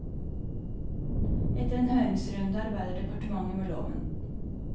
Etter en høringsrunde arbeider departementet med loven.